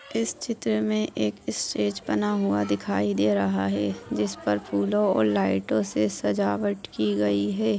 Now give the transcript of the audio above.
इस चित्र में एक स्टेज बना हुआ दिखाई दे रहा है जिस पर फूलों और लाइटों से सजावट की गई है।